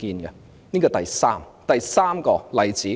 這是第三個例子。